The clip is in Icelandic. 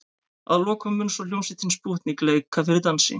Að lokum mun svo hljómsveitin Spútnik leika fyrir dansi.